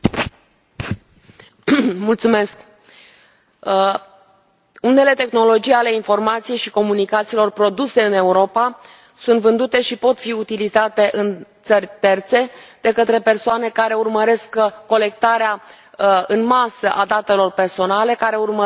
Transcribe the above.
Unele tehnologii ale informației și comunicațiilor produse în Europa sunt vândute și pot fi utilizate în țări terțe de către persoane care urmăresc colectarea în masă a datelor personale care urmăresc localizarea și ascultarea persoanelor în mod ilegal.